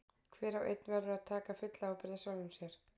Hver og einn verður að taka fulla ábyrgð á sjálfum sér.